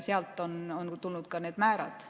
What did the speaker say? Sealt on tulnud ka need määrad.